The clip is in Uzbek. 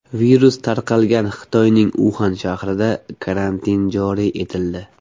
Virus tarqalgan Xitoyning Uxan shahrida karantin joriy etildi.